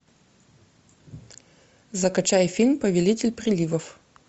закачай фильм повелитель приливов